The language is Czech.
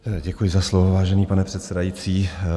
Děkuji za slovo, vážený pane předsedající.